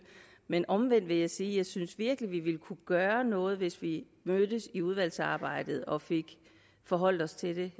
men omvendt vil jeg sige at jeg synes vi virkelig kunne gøre noget hvis vi mødtes i udvalgsarbejdet og forholdt os til det